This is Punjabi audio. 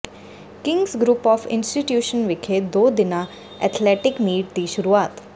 ਕਿੰਗਜ਼ ਗਰੁੱਪ ਆਫ਼ ਇੰਸਟੀਚਿਊਸ਼ਨਜ਼ ਵਿਖੇ ਦੋ ਦਿਨਾ ਐਥਲੈਟਿਕ ਮੀਟ ਦੀ ਸ਼ੁਰੂਆਤ